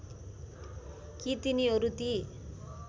कि तिनीहरू ती